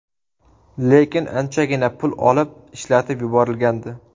Lekin anchagina pul olib, ishlatib yuborilgandi.